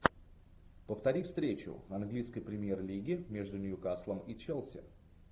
повтори встречу английской премьер лиги между ньюкаслом и челси